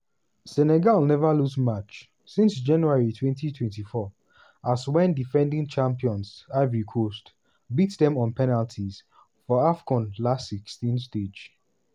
senegal neva lose match since january 2024 wen as defending champions ivory coast beat dem on penalties for afcon last-16 stage.